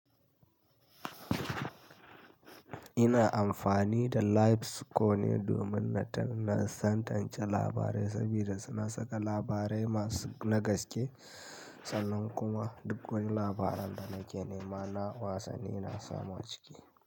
Ina amfani da Live Score ne domin na tantance labarai sabida suna saka labarai masu na gaske, sannan kuma duk wani labaran da nake nema na wasanni ina samu a ciki.